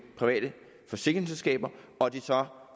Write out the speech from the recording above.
private forsikringsselskaber og at de så